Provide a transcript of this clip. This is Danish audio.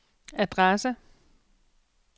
adresse